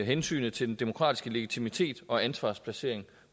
hensynet til den demokratiske legitimitet og ansvarsplacering